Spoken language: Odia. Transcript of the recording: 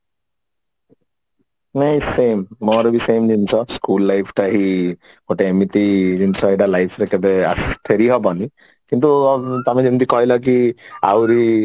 ନାଇଁ same ମୋର ବି same ଜିନିଷ school life ଟା ହିଁ ଗୋଟେ ଏମିତି ଜିନିଷ ଗୋଟେ life ରେ ଆସି କେବେ ଫେରି ହବନି କିନ୍ତୁ ତମେ ଯେମିତି କହିଲ କି ଆହୁରି